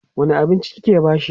wani abinci kike bashi?